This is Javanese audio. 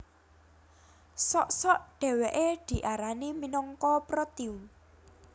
Sok sok dhèwèké diarani minangka protium